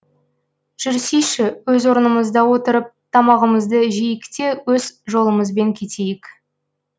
жүрсейші өз орнымызда отырып тамағымызды жейік те өз жолымызбен кетейік